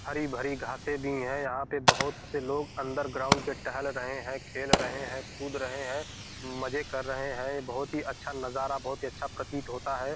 हरी-भरी घास से भी है यहां पर बहुत से लोग अंदर ग्राउंड के टहल रहे हैं खेल रहे हैं कूद रहे हैं मजे कर रहे हैं बहुत ही अच्छा नजारा बहुत ही अच्छा प्रतीत होता है।